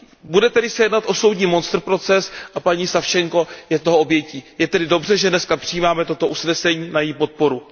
Bude li se jednat o soudní monstrproces a paní Savčenková je toho obětí, je tedy dobře, že dnes přijímáme toto usnesení na její podporu.